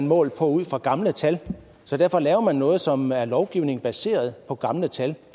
målt ud fra gamle tal så derfor laver man noget som er lovgivning baseret på gamle tal